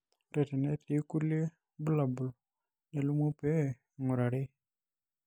ore tenetii kulie bulabol nelimuni pee ingurari